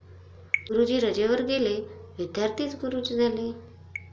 गुरुजी रजेवर गेले, विद्यार्थीच गुरुजी झाले!